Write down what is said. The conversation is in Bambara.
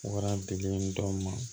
Wara bilen dɔ ma